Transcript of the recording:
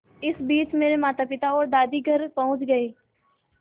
इसी बीच मेरे मातापिता और दादी घर पहुँच गए